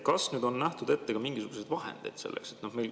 Kas nüüd on selleks ka mingisugused vahendid ette nähtud?